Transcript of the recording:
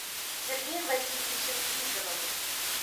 сергеем васильевичем никоновым